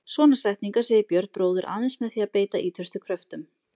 Svona setningar segir Björn bróðir aðeins með því að beita ýtrustu kröftum.